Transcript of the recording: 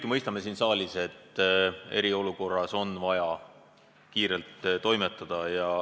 Me kõik siin saalis ju mõistame, et eriolukorras on vaja kiiresti toimetada.